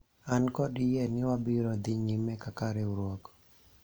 an kod yie ni wabiro dhi nyime kaka riwruok